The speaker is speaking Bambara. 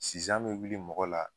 Sizan mɛ wuli mɔgɔ la